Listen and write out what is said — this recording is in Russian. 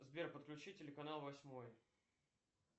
сбер подключи телеканал восьмой